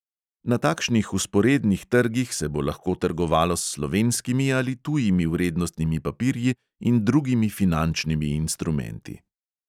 Na takšnih vzporednih trgih se bo lahko trgovalo s slovenskimi ali tujimi vrednostnimi papirji in drugimi finančnimi instrumenti.